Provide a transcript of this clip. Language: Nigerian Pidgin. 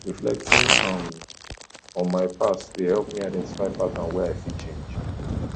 reflecting um on my past dey help me identify patterns wey i fit change